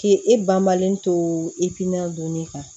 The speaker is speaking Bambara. K'i e banbalen to i pinɛ donni kan